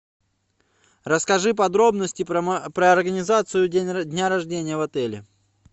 расскажи подробности про организацию дня рождения в отеле